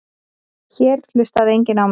Hér hlustaði enginn á mig.